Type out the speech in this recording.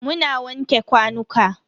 Muna wanke kwanuka.